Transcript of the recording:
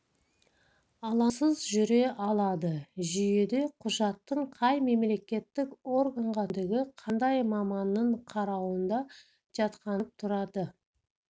алаңсыз жүре алады жүйеде құжаттың қай мемлекеттік органға түскендігі қандай маманның қарауында жатқандығы көрініп тұрады